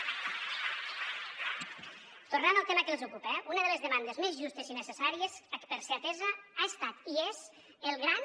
tornant al tema que els ocupa eh una de les demandes més justes i necessàries per ser atesa ha estat i és el gran